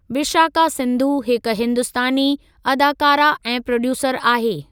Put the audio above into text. विशाका सिंघु हिक हिंदुस्तानी अदाकारह ऐं प्रोड्यूसर आहे।